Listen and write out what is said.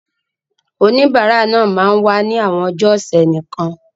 Oníbàárà náà máa wá ní àwọn ọjọ́ ọ̀sẹ̀ nìkan.